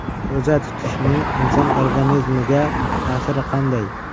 Ro‘za tutishning inson organizmiga ta’siri qanday?.